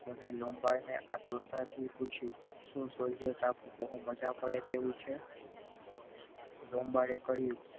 તેને લાંબાડે આતુરતાથી પૂછ્યું શું soldier ટાપુ બહુ મજા પડે તેવું છ લાંબાડે કહ્યું.